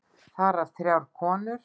Þar af þrjár konur.